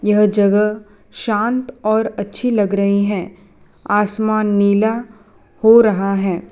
यह जगह शांत और अच्छी लग रही हैं आसमान नीला हो रहा हैं।